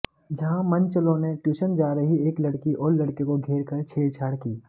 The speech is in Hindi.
जहां मनचलों ने ट्यूशन जा रही एक लड़की और लड़के को घेर कर छेड़छाड़ की